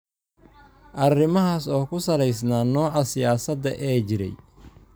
arrimahaas oo ku salaysnaa nooca siyaasadda ee jiray.